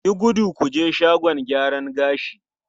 Yi gudu ku je shagon gyaran gashi!